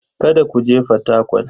Kada ku je Fatakwal.